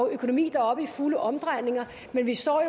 økonomi der er oppe i fulde omdrejninger men vi står